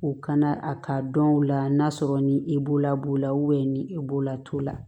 U kana a k'a dɔn u la n'a sɔrɔ ni e b'o la b'o la ni e b'o la t'o la